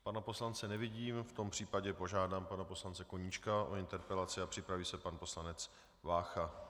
Pana poslance nevidím, v tom případě požádám pana poslance Koníčka o interpelaci a připraví se pan poslanec Vácha.